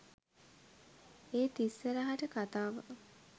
ඒත් ඉස්සරහට කතාව